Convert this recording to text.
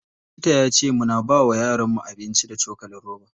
Likita yace muna bawa yaron mu abinci da cokalin roba.